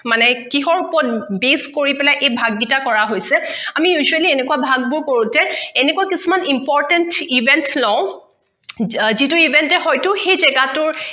আমি মানে কিহৰ ওপৰত based কৰি পেলায় এই ভাগকেইটা কৰা হৈছে আমি usually এনেকোৱা ভাগবোৰ কৰো যে এনেকোৱা কিছুমান importance event লওঁ যিটো event হয়টো সেই যেগাটোৰ